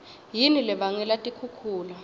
yini lebangela tikhukhula